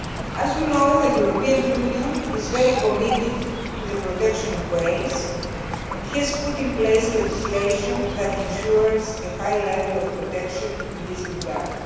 As you know the European Union is very committed to the protection of whales and has put in place legislation that ensures a high level of protection in this regard.